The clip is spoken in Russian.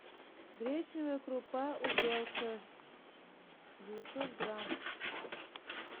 гречневая крупа увелка девятьсот грамм